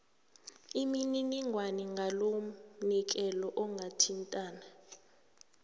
imininingwana ngalomnikelo ungathintana